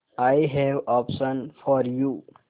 I have option for you